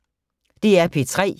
DR P3